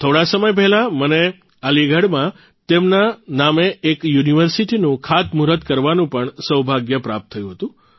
થોડા સમય પહેલાં મને અલીગઢમાં તેમના નામે એખ યુનિવર્સિટીનું ખાતમૂહુર્ત કરવાનું પણ સૌભાગ્ય પ્રાપ્ત થયું હતું